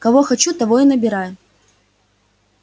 кого хочу того и набираю